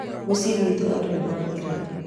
mũciĩ gwitũ andũ nĩmathira